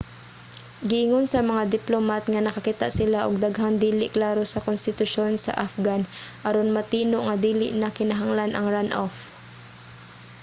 giingon sa mga diplomat nga nakakita sila og daghang dili klaro sa konstitusyon sa afghan aron matino nga dili na kinahanglan ang runoff